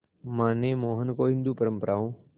मां ने मोहन को हिंदू परंपराओं